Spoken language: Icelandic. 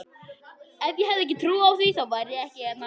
Ef ég hefði ekki trú á því, þá væri ég ekki hérna.